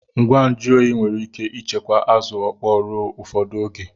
Ngwa nju oyi nwere ike ichekwa Azu okpo ruo ufodu oge